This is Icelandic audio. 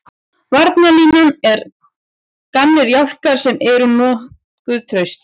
Varnarlínan er gamlir jálkar sem eru nokkuð traustir.